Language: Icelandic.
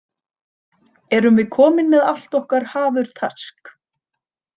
Erum við komin með allt okkar hafurtask?